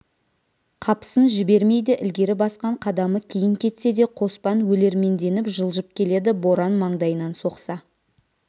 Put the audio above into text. қапысын жібермейді ілгері басқан қадамы кейін кетсе де қоспан өлерменденіп жылжып келеді боран маңдайынан соқса